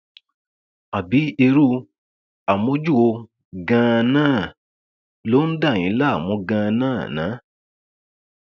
àbí irú amojú wo ganan ló ń dà yín láàmú ganan ná